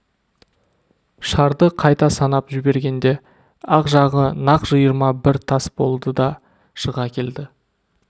шарды қайта санап жібергенде ақ жағы нақ жиырма бір тас болды да шыға келді